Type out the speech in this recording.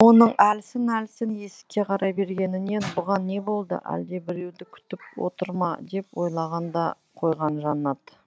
оның әлсін әлсін есікке қарай бергенінен бұған не болды әлде біреуді күтіп отыр ма деп ойлаған да қойған жаннат